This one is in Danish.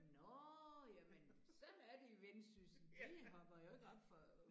Nåh jamen sådan er de i Vendsyssel de hopper jo ikke oppe fra